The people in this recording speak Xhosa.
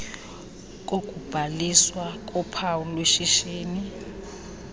kokubhaliswa kophawu lweshishini